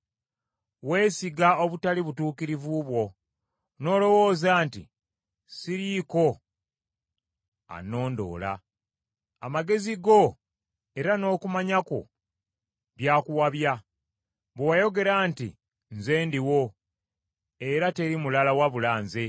Weesiga obutali butuukirivu bwo, n’olowooza nti, ‘Siriiko annondoola.’ Amagezi go era n’okumanya kwo byakuwabya, bwe wayogera nti, ‘Nze ndiwo, era teri mulala wabula nze.’